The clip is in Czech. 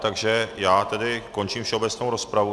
Takže já tedy končím všeobecnou rozpravu.